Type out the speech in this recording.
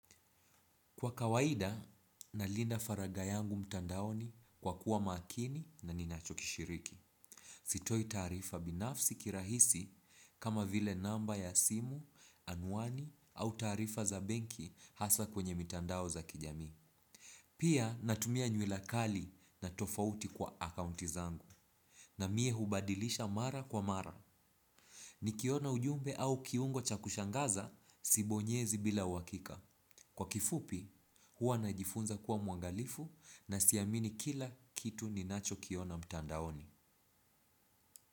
Kwa kawaida, nalinda faragha yangu mtandaoni kwa kuwa makini na ninachokishiriki. Sitoi taarifa binafsi kirahisi kama vile namba ya simu, anuani au taarifa za benki hasa kwenye mitandao za kijami. Pia natumia nywila kali na tofauti kwa akaunti zangu na mie hubadilisha mara kwa mara. Nikiona ujumbe au kiungo cha kushangaza, sibonyezi bila uhakika. Kwa kifupi, hua najifunza kuwa mwangalifu na siamini kila kitu ninachokiona mtandaoni.